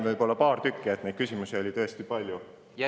Küsimusi oli tõesti palju, aga ma valin võib-olla neist paar tükki välja.